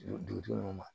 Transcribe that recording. Dugudenw ma